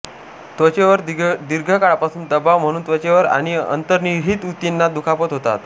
त्वचेवर दीर्घकाळापर्यंत दबाव म्हणून त्वचेवर आणि अंतर्निहित ऊतींना दुखापत होतात